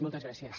moltes gràcies